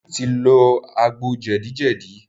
David ti lò àgbò jedi jedi